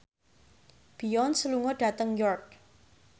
Beyonce lunga dhateng York